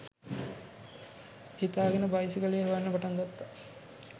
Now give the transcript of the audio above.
හිතාගෙන බයිසිකලේ හොයන්න පටන් ගත්තා.